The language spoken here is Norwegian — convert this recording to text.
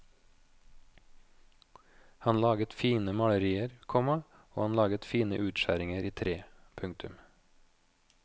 Han laget fine malerier, komma og han laget fine utskjæringer i tre. punktum